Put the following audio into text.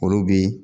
Olu bi